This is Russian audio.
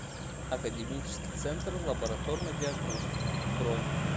академический центр лабораторной диагностики бронь